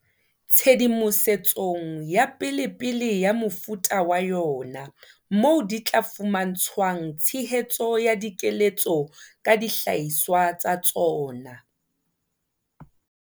Tshedimosetsong ya pelepele ya mofuta wa yona moo di tla fuma ntshwang tshehetso ya dikeletso ka dihlahiswa tsa tsona.